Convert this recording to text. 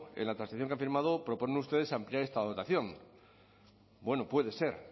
en la transacción que han firmado proponen ustedes ampliar esta dotación bueno puede ser